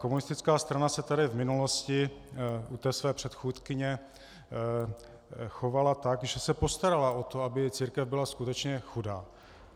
Komunistická strana se tady v minulosti u té své předchůdkyně chovala tak, že se postarala o to, aby církev byla skutečně chudá.